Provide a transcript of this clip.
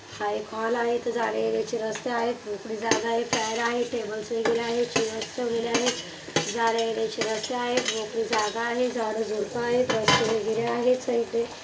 हा एक हॉल आहे जाण्या येण्याची रस्ता आहे मोकळी जागा आहे फॅन आहे टेब्ल्स वगैरा आहे चेयर्स ठेवलेले आहेत जाण्या येण्याचे रास्ते आहेत मोकळी जागा आहे झाडे झुडप आहे रस्ते वगैरे आहेत साईड ने.